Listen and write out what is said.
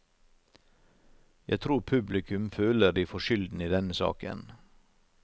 Jeg tror publikum føler de får skylden i denne saken.